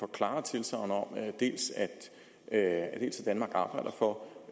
klare tilsagn om dels at danmark arbejder for